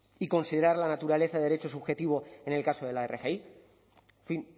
y considerar la naturaleza de derecho subjetivo en el caso de la rgi en fin